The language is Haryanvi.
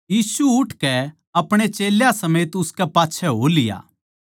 यीशु उठकै अपणे चेल्यां समेत उसके पाच्छै हो लिया